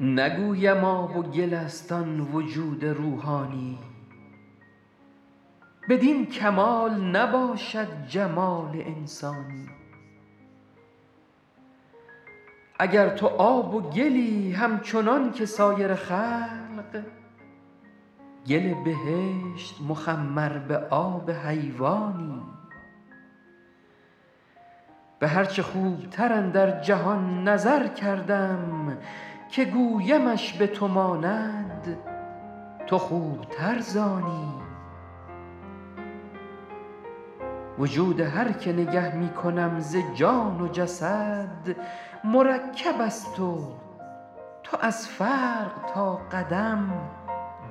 نگویم آب و گل است آن وجود روحانی بدین کمال نباشد جمال انسانی اگر تو آب و گلی همچنان که سایر خلق گل بهشت مخمر به آب حیوانی به هر چه خوبتر اندر جهان نظر کردم که گویمش به تو ماند تو خوبتر ز آنی وجود هر که نگه می کنم ز جان و جسد مرکب است و تو از فرق تا قدم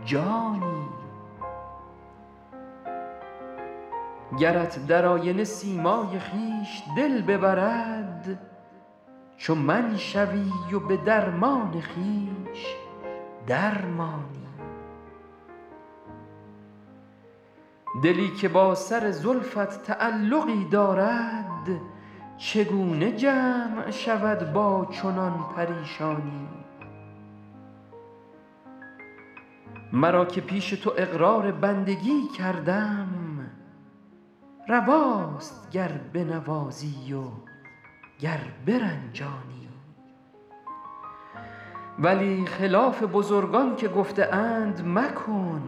جانی گرت در آینه سیمای خویش دل ببرد چو من شوی و به درمان خویش در مانی دلی که با سر زلفت تعلقی دارد چگونه جمع شود با چنان پریشانی مرا که پیش تو اقرار بندگی کردم رواست گر بنوازی و گر برنجانی ولی خلاف بزرگان که گفته اند مکن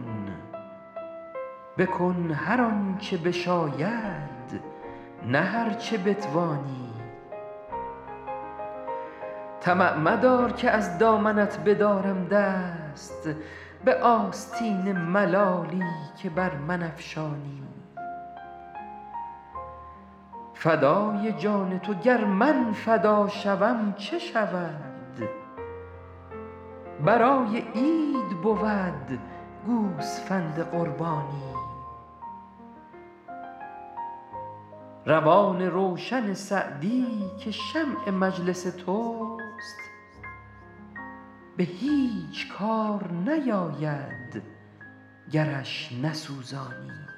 بکن هر آن چه بشاید نه هر چه بتوانی طمع مدار که از دامنت بدارم دست به آستین ملالی که بر من افشانی فدای جان تو گر من فدا شوم چه شود برای عید بود گوسفند قربانی روان روشن سعدی که شمع مجلس توست به هیچ کار نیاید گرش نسوزانی